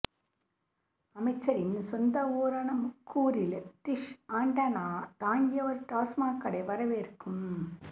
அமைச்சரின் சொந்த ஊரான முக்கூரில் டிஷ் ஆண்டனா தாங்கிய ஒரு டாஸ்மாக் கடை வரவேற்கும்